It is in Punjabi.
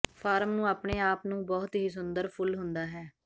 ਫਾਰਮ ਨੂੰ ਆਪਣੇ ਆਪ ਨੂੰ ਬਹੁਤ ਹੀ ਸੁੰਦਰ ਫੁੱਲ ਹੁੰਦਾ ਹੈ